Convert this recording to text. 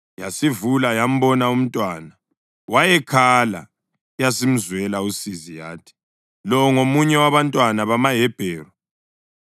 Yasivula yambona umntwana. Wayekhala, yasimzwela usizi yathi, “Lo ngomunye wabantwana bamaHebheru.”